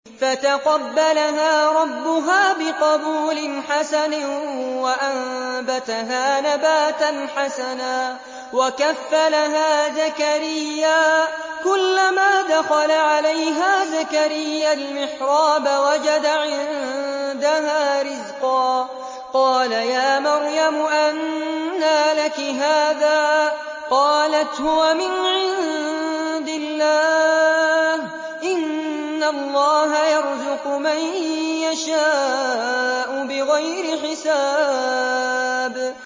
فَتَقَبَّلَهَا رَبُّهَا بِقَبُولٍ حَسَنٍ وَأَنبَتَهَا نَبَاتًا حَسَنًا وَكَفَّلَهَا زَكَرِيَّا ۖ كُلَّمَا دَخَلَ عَلَيْهَا زَكَرِيَّا الْمِحْرَابَ وَجَدَ عِندَهَا رِزْقًا ۖ قَالَ يَا مَرْيَمُ أَنَّىٰ لَكِ هَٰذَا ۖ قَالَتْ هُوَ مِنْ عِندِ اللَّهِ ۖ إِنَّ اللَّهَ يَرْزُقُ مَن يَشَاءُ بِغَيْرِ حِسَابٍ